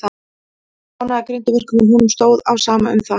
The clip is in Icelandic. Hann hafði enga ánægju af grimmdarverkum, en honum stóð á sama um þau.